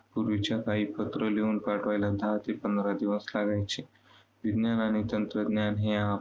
पूर्वीच्या काळी पत्र लिहून पाठवायला दहा ते पंधरा दिवस लागायचे. विज्ञानाने तंत्रज्ञान हे